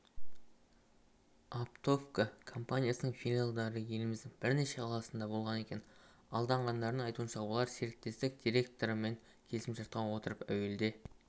оптовка компаниясының филиалдары еліміздің бірнеше қаласында болған екен алданғандардың айтуынша олар серіктестік директорымен келісімшартқа отырып әуелде